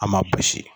An ma basi